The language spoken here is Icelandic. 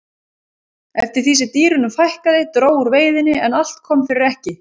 eftir því sem dýrunum fækkaði dró úr veiðinni en allt kom fyrir ekki